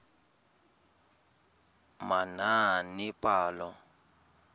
manaanepalo